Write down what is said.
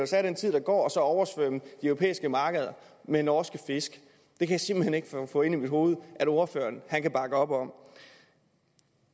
sig af den tid der går og oversvømme de europæiske markeder med norske fisk jeg kan simpelt hen ikke få ind i mit hoved at ordføreren kan bakke op om